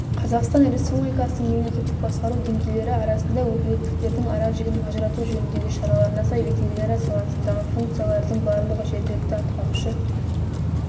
қазақстан республикасының мемлекеттіқ басқару деңгейлері арасында өкілеттіктердің аражігін ажырату жөніндегі шараларына сай ветеринария саласындағы функциялардың барлығы жергілікті атқарушы